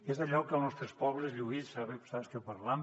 és allò que als nostres pobles lluís saps que parlem